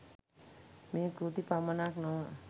මේ කෘති පමණක් නො ව